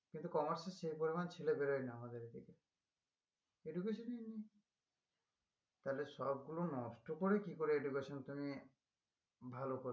কিন্তু commerce এ সে পরিমান ছেলে বেরোয় না আমাদের এদিকে education নষ্ট করে কি করে education তুমি ভালো করবে